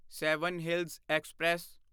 seven hills express